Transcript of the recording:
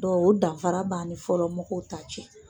Dɔku , o danfara b'ani fɔlɔmɔgɔw ta cɛ.